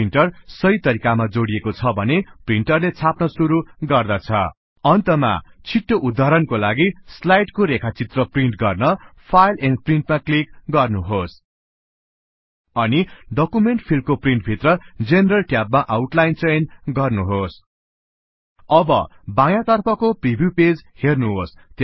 printer सहि तरिकामा जोडिएको छ भने प्रिन्टरले छाप्न गर्न सुरु गर्नेछ अन्तमा छिटो उद्धरणका लागि स्लाइडस् को रेखाचित्र प्रिन्ट गर्न फाइल एण्ड प्रिन्ट मा क्लीक गर्नुहोस् अनि डकुमेन्ट फिल्ड को प्रिन्ट भित्र जेनेरल ट्याब मा आउटलाइन चयन गर्नुहोस् अब बायाँ तर्फको प्रीभ्यु पेज हेर्नुहोस